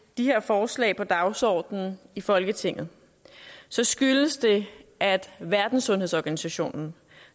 de her forslag på dagsordenen i folketinget så skyldes det at verdenssundhedsorganisationen